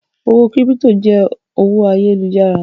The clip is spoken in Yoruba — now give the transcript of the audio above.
Owó kírípító jẹ́ owó ayélujára.